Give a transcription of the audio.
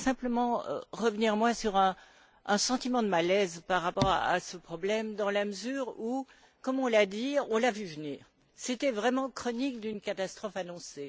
Je voudrais simplement revenir sur un sentiment de malaise par rapport à ce problème dans la mesure où, comme on l'a dit, on l'avait vu venir. C'était vraiment la chronique d'une catastrophe annoncée.